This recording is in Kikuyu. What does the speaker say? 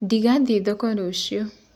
Nĩngathĩĩ thoko rũcĩũ